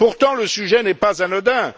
Pourtant, le sujet n'est pas anodin.